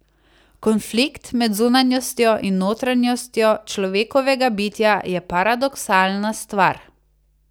Konflikt med zunanjostjo in notranjostjo človekovega bitja je paradoksalna stvar.